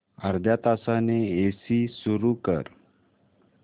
अर्ध्या तासाने एसी सुरू कर